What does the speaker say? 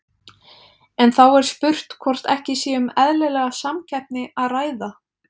En þá er spurt hvort ekki sé um eðlilega samkeppni að ræða?